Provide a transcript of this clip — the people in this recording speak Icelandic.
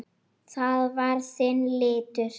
Það var þinn litur.